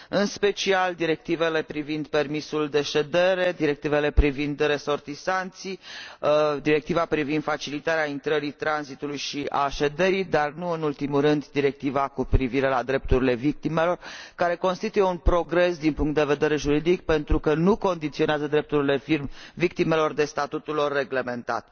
În special directivele privind permisul de ședere, directivele privind resortisanții, directiva privind facilitarea intrării, tranzitului și a șederii și nu în ultimul rând directiva cu privire la drepturile victimelor, care constituie un progres din punct de vedere juridic, pentru că nu condiționează drepturile victimelor de statutul lor reglementat.